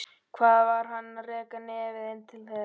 Hvað var hann að reka nefið inn til þeirra?